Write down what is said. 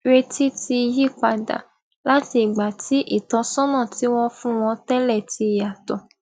retí ti yí padà láti ìgbà tí ìtósónà tí wón fún wọn télè ti yàtò